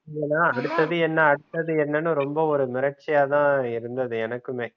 ஏன்னா அடுத்தது என்ன அடுத்தது என்னன்னு ரொம்ப ஒரு மிரட்சியா தான் இருந்தது எனக்குமே